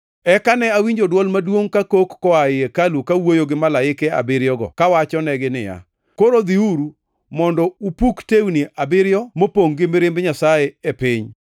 Eka ne awinjo dwol maduongʼ kakok koa ei hekalu kawuoyo gi malaike abiriyogo kawachonegi niya, “Koro dhiuru, mondo upuk tewni abiriyo mopongʼ gi mirimb Nyasaye e piny.”